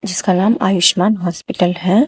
जिसका नाम आयुष्मान हॉस्पिटल है।